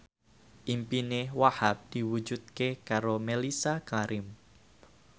impine Wahhab diwujudke karo Mellisa Karim